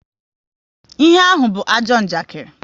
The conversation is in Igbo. Ihe ahụ be ajọ njakiri